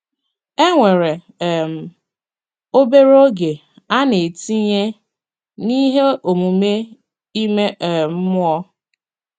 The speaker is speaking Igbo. E nwere um obere oge a na-etinye n'ihe omume ime um mmụọ.